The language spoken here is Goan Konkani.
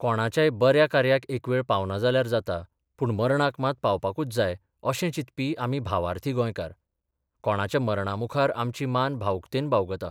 कोणाच्याय बऱ्या कार्याक एक वेळ पावना जाल्यार जाता, पूण मरणाक मात पावपाकूच जाय अशें चिंतपी आमी भावार्थी गोंयकार कोणाच्या मरणामुखार आमची मान भावुकतेन बावगता.